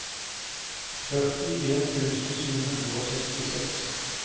førtien tusen sju hundre og sekstiseks